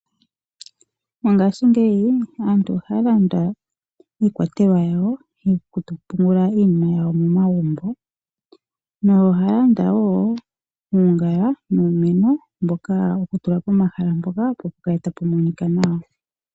Mongaashingeyi aantu ohaya landa iikwatelwa yawo yokupungula iinima yawo momagumbo, nohaya landa wo uungala nuumeno wokutula pomahala mpoka opo pukale tapu monika nawa.